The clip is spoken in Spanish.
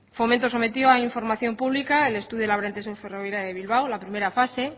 fomento sometió a información pública el estudio de la variante sur ferroviaria de bilbao la primera fase